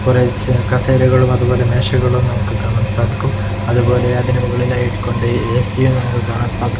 കുറെ കസേരകളും അതുപോലെ മേശകളും നമുക്ക് കാണാൻ സാധിക്കും അതുപോലെ അതിന് മുകളിലായി കൊണ്ട് എ_സിയും നമുക്ക് കാണാൻ സാധിക്കും.